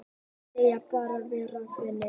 Segjast bara vera vinir